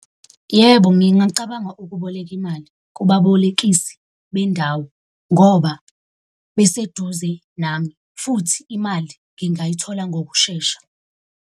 Yebo, ngingacabanga ukuboleka imali kubabolekisi bendawo ngoba beseduze nami futhi imali ngingayithola ngokushesha.